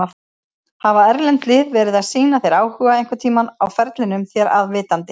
Hafa erlend lið verið að sýna þér áhuga einhverntímann á ferlinum þér að vitandi?